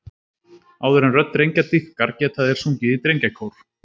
Áður en rödd drengja dýpkar geta þeir sungið í drengjakór.